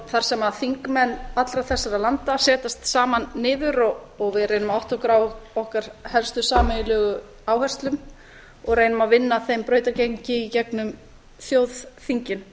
þar sem þingmenn allra þessara landa setjast saman niður og við reynum að átta okkur á okkar helstu sameiginlegu áherslum og reynum að vinna þeim brautargengi í gegnum þjóðþingin